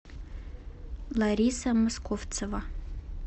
лариса мысковцева